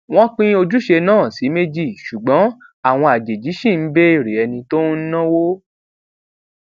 wón pín ojúṣe náà sí méjì ṣùgbọn àwọn àjèjì ṣì ń béèrè ẹni tó ń náwó